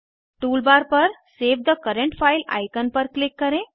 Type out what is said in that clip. toolbar पर save the current file icon पर click करें